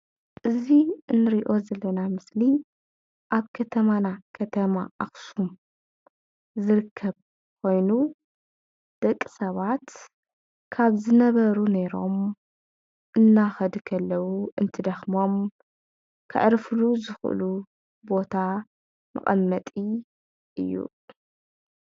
እዚ እንርእዮ ዘለና ምስሊ ኣብ ከተማና ከተማ ኣክሱም ዝርከብ ኮይኑ ደቂ ሰባት ካብ ዝነበሩ ነይሮም እናኸዱ ከለዉ እንትደኽሞም ከዕርፍሉ ዝኽእሉ ቦታ መቐመጢ እዩ።